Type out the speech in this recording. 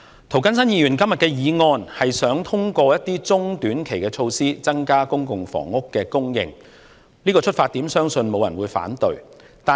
涂謹申議員今天的議案，是想通過一些中短期的措施，增加公共房屋供應，這個出發點相信沒有人會反對。